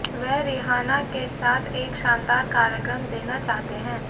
वह रिहाना के साथ एक शानदार कार्यक्रम देना चाहते हैं